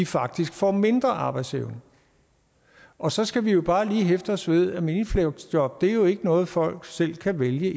faktisk får mindre arbejdsevne og så skal vi jo bare lige hæfte os ved at minifleksjob jo ikke noget folk selv kan vælge